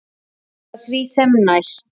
Eða því sem næst.